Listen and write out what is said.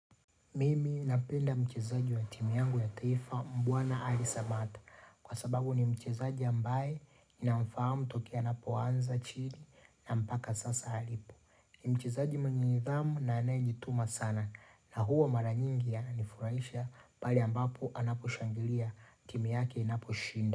Mimi napenda mchezaji wa timu yangu ya taifa Mbwana Ali Samatta, kwa sababu ni mchezaji ambaye ninamfahamu tokea anapoanza chini na mpaka sasa alipo. Ni mchezaji mwenye nidhamu na anayejituma sana na huwa mara nyingi yanifurahisha pale ambapo anaposhangilia timu yake inaposhinda.